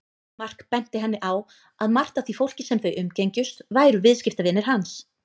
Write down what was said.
Mark benti henni á að margt af því fólki sem þau umgengjust væru viðskiptavinir hans.